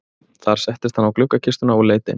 Þar settist hann á gluggakistuna og leit inn.